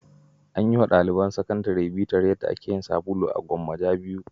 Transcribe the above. An yi wa daliban sakandare bitar yadda ake yin sabulu a Gwammaja 2.